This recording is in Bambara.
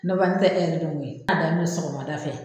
Nafa n tɛ e yɛrɛ don ko ye a daminɛ sɔgɔmada fɛ